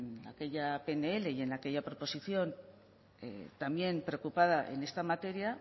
en aquella pnl y en aquella proposición también preocupada en esta materia